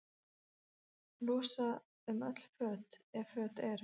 Losa um öll föt, ef föt eru.